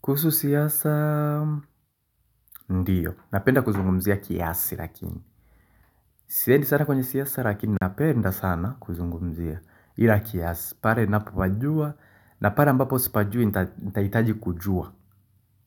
Kuhusu siasa, ndiyo. Napenda kuzungumzia kiasi lakini. Siedi sana kwenye siyasa lakini napenda sana kuzungumzia ila kiasi. Pare napopajua na pare mbapo sipajui nitaitaji kujua.